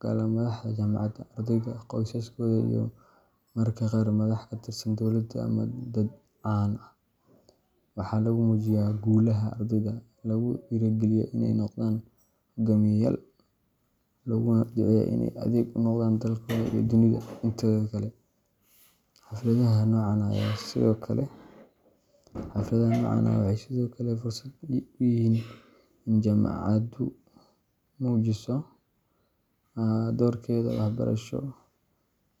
gala madaxda jaamacadda, ardayda, qoysaskooda, iyo mararka qaar madax ka tirsan dowladda ama dad caan ah. Waxaa lagu muujiyo guulaha ardayda, lagu dhiirrigeliyaa in ay noqdaan hogaamiyeyaal, looguna duceeyaa in ay adeeg u noqdaan dalkooda iyo dunida inteeda kale. Xafladaha noocan ah waxay sidoo kale fursad u yihiin in jaamacaddu muujiso doorkeeda waxbarasho